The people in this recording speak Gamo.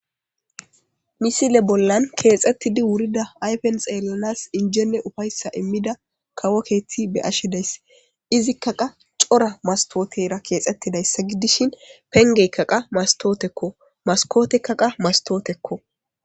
misile bollan keexettidi wurida aypen xeellanas injene ufayssa immida kawokeeti be ashidays izikka qa cora mastootera keexettidayssa gidishin pengeykkaqa mastootekko maskotekkaqa mastootekko